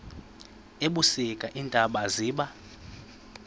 ebusika iintaba ziba